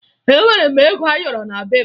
Enwere m ego ayọrọ na be m